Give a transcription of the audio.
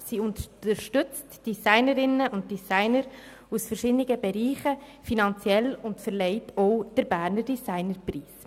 Sie unterstützt Designerinnen und Designer aus verschiedenen Bereichen finanziell und verleiht auch den «Berner Design Preis».